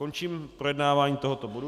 Končím projednávání tohoto bodu.